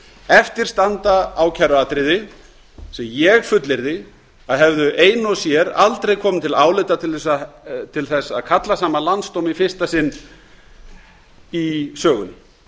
eftir standa ákæruatriði sem ég fullyrði að hefðu ein og sér aldrei komið til álita til að kalla saman landsdóm í fyrsta sinn í sögunni